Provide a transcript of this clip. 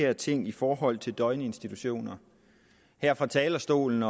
her ting i forhold til døgninstitutioner her fra talerstolen